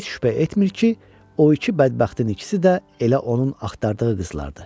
Və heç şübhə etmir ki, o iki bədbəxtin ikisi də elə onun axtardığı qızlardır.